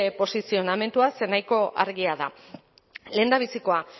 posizionamendua zer nahiko argia da lehendabizikoa